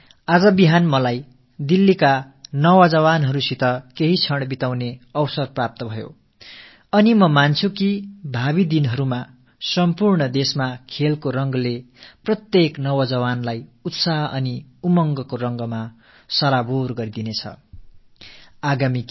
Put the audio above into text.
நேற்று காலை தில்லியின் இளைஞர்களோடு சில கணங்களை கழிக்கும் வாய்ப்பு எனக்குக் கிட்டியது இனி வரும் நாட்களில் நாடு முழுவதிலும் விளையாட்டுகள் தொடர்பான உத்வேகம் ஒவ்வொரு இளைஞனின் உற்சாகத்தையும் குதூகலத்தையும் அதிகரிக்கும் என்று நம்புகிறேன்